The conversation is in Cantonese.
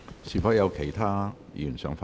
是否有其他議員想發言？